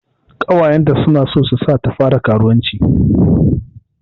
Ƙawayenta na so su sa ta fara karuwanci.